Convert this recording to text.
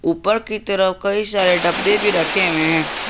ऊपर की तरफ कई सारे डब्बे भी रखे हुए हैं।